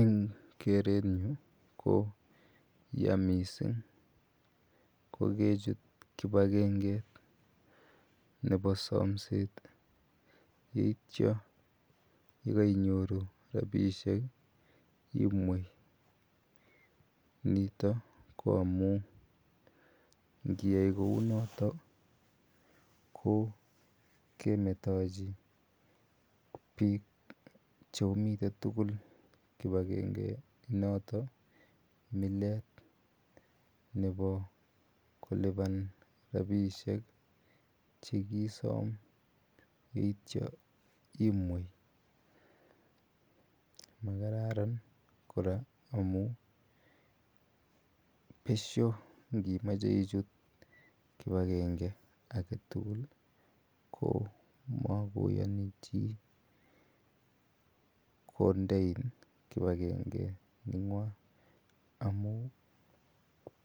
Eng' kreet nyu ko ya missing' ye kechut kipagenge nepo samset yetya ye kainyoru rapishek imwei. Nitok ko amu ngiyai kou notok ko kmetachi piik che o mitei tugul kip agenge intok mileet nepo kolipan rapishek che kiisam tetya imwe. Ma kararan kora amu pesho ngi mache ichut kip agengeit age tugu ko ma koyani chi kondein kip agenge neng'wa amu